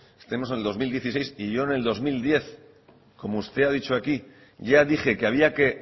que estemos en el dos mil dieciséis y yo en el dos mil diez como usted ha dicho aquí ya dije que había que